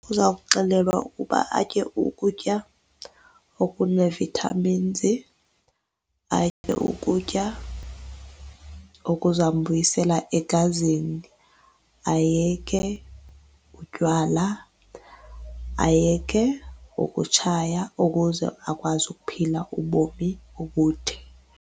Uzawuxelelwa uba atye ukutya okunee-vitamins, atye ukutya okuzambuyisela egazini. Ayeke utywala, ayeke ukutshaya ukuze akwazi ukuphila ubomi obude.